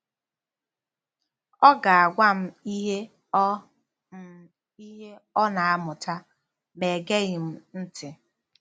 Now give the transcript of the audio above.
Ọ ga-agwa m ihe ọ m ihe ọ na-amụta, ma egeghị m ntị.